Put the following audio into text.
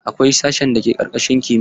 Akwai sashen da ke karkashin kimiya.